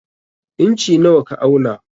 Inci nawa ka auna?